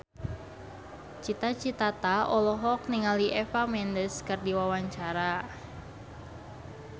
Cita Citata olohok ningali Eva Mendes keur diwawancara